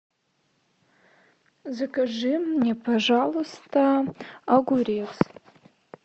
закажи мне пожалуйста огурец